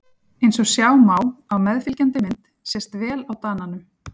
Eins og sjá má á meðfylgjandi mynd sést vel á Dananum.